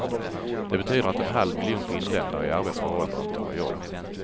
Det betyder att en halv miljon finländare i arbetsför ålder inte har jobb.